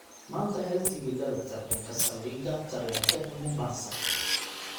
maanta hel tigidhada tareenka saldhiga tareenka ee mombasa